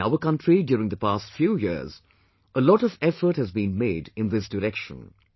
In our country during the past few years, a lot of effort has been made in this direction